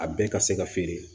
A bɛɛ ka se ka feere